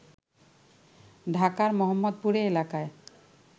ঢাকার মোহাম্মদপুরে এলাকায়